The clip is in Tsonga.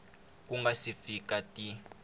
ku nga si fika ti